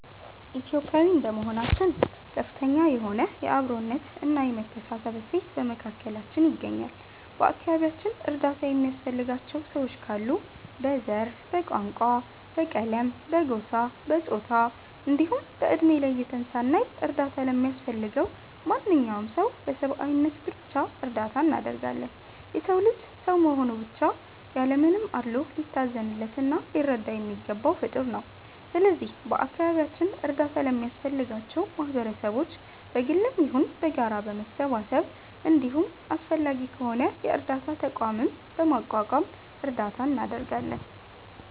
ኢትዮጲያዊ እንደመሆናችን ከፍተኛ የሆነ የ አብሮነት እና የመተሳሰብ እሴት በመካከላችን ይገኛል። በ አከባቢያችን እርዳታ የሚያስፈልጋቸው ሰዎች ካሉ በ ዘር፣ በቋንቋ፣ በቀለም፣ በጎሳ፣ በፆታ እንዲሁም በ እድሜ ለይተን ሳናይ እርዳታ ለሚያስፈልገው ማንኛውም ሰው በ ሰብዓዊነት ብቻ እርዳታ እናደርጋለን። የ ሰው ልጅ ሰው በመሆኑ ብቻ ያለ ምንም አድሎ ሊታዘንለት እና ሊረዳ የሚገባው ፍጠር ነው። ስለዚህ በ አካባቢያችን እርዳታ ለሚያስፈልጋቸው ማህበረሰቦች በ ግልም ይሁን በጋራ በመሰባሰብ እንዲሁም አስፈላጊ ከሆነ የ እርዳታ ተቋምም በማቋቋም እርዳታ እናደርጋለን።